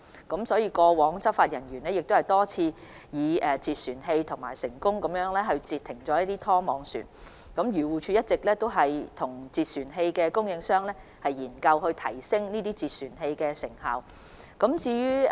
過去執法人員多次以截船器成功攔截拖網漁船，漁護署一直與截船器供應商研究如何提升截船器的成效。